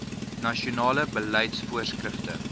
nasionale beleids voorskrifte